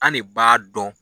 An ne b'a dɔn.